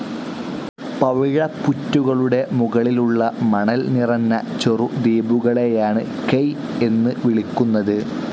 പവിഴപ്പുറ്റുകളുടെ മുകളിൽ ഉളള മണൽ നിറഞ്ഞ ചെറു ദ്വീപുകളെയാണ് കെയ് എന്ന് വിളിക്കുന്നത്.